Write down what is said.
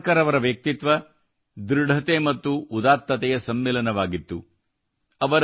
ವೀರ ಸಾವರ್ಕರ್ ಅವರ ವ್ಯಕ್ತಿತ್ವವು ದೃಢತೆ ಮತ್ತು ಉದಾತ್ತತೆಯ ಸಮ್ಮಿಲನವಾಗಿತ್ತು